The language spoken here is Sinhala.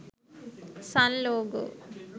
sun logo